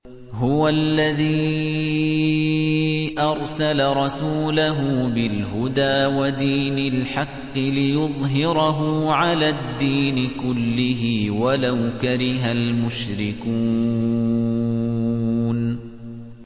هُوَ الَّذِي أَرْسَلَ رَسُولَهُ بِالْهُدَىٰ وَدِينِ الْحَقِّ لِيُظْهِرَهُ عَلَى الدِّينِ كُلِّهِ وَلَوْ كَرِهَ الْمُشْرِكُونَ